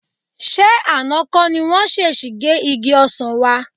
Ṣé àná kọ́ ni wọ́n ṣèṣì gé igi ọsàn wa?